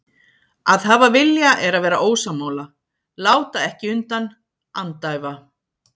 Að hafa vilja er að vera ósammála, láta ekki undan, andæfa.